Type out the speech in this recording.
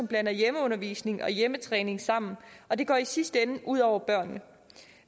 blander hjemmeundervisning og hjemmetræning sammen og det går i sidste ende ud over børnene